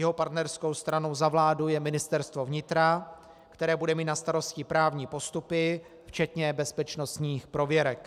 Jeho partnerskou stranou za vládu je Ministerstvo vnitra, které bude mít na starosti právní postupy včetně bezpečnostních prověrek.